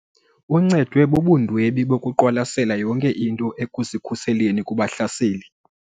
Uncedwe bubundwebi bokuqwalasela yonke into ekuzikhuseleni kubahlaseli.